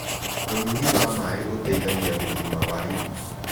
Ũnyũĩ wa mae ũteĩthagĩa ũgima wa ĩnĩ